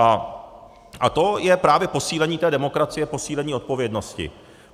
A to je právě posílení té demokracie, posílení odpovědnosti.